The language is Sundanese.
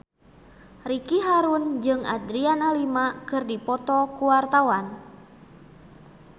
Ricky Harun jeung Adriana Lima keur dipoto ku wartawan